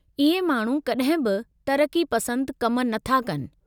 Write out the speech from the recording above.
इहे माण्हू कड॒हिं बि तरक़्क़ी पसंदु कम नथा कनि।